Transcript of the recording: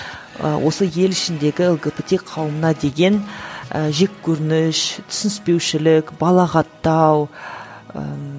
ы осы ел ішіндегі лгбт қауымына деген і жеккөрініш түсінішпеушілік балағаттау ііі